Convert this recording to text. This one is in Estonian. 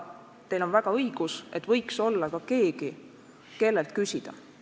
Teil on väga õigus, et võiks olla keegi, kellelt küsida.